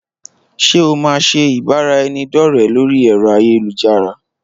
Ṣé o máa ṣe ìbára ẹni dọ̀rẹ lórí ẹ̀rọ ayélujára